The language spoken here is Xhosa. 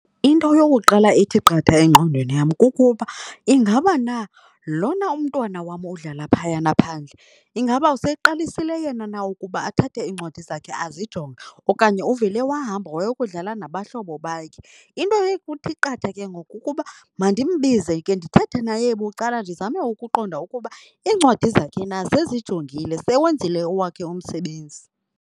Into eyokuqala ethi qatha engqondweni yam kukuba ingaba na lona umntwana wam odlala phayana phandle ingaba seyiqalisile yena na ukuba athathe iincwadi zakhe azijonge okanye uvele wahamba wayokudlala nabahlobo bakhe. Into ekuthi qatha ke ngoku kukuba mandimbize ke ndithethe naye bucala ndizame ukuqonda ukuba iincwadi zakhe na sezijongile, sewenzile owakhe umsebenzi.